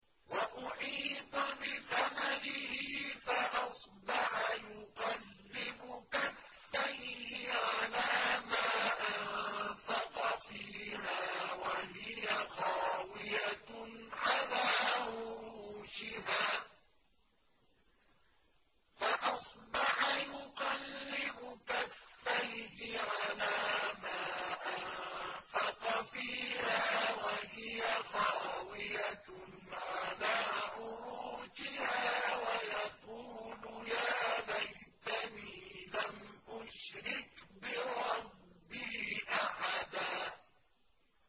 وَأُحِيطَ بِثَمَرِهِ فَأَصْبَحَ يُقَلِّبُ كَفَّيْهِ عَلَىٰ مَا أَنفَقَ فِيهَا وَهِيَ خَاوِيَةٌ عَلَىٰ عُرُوشِهَا وَيَقُولُ يَا لَيْتَنِي لَمْ أُشْرِكْ بِرَبِّي أَحَدًا